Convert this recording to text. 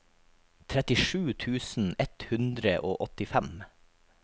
trettisju tusen ett hundre og åttifem